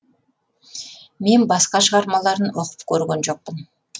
мен басқа шығармаларын оқып көрген жоқпын